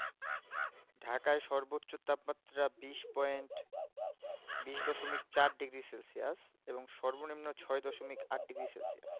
ঢাকায় সর্বোচ তাপ মাত্রা বিশ point বিশ দশমিক চার degree সেলসিয়াস এবং সর্ব নিম্ন ছয় দশমিক আট degree সেলসিয়াস